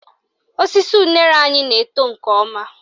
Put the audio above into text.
Osisi unere anyị na-eto nke ọma